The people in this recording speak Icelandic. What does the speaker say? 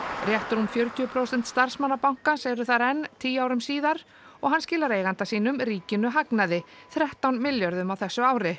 rétt rúm fjörutíu prósent starfsmanna bankans eru þar enn tíu árum síðar og hann skilar eiganda sínum ríkinu hagnaði þrettán milljörðum á þessu ári